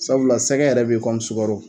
Sabula sɛgɛ yɛrɛ be kɔmi sugaro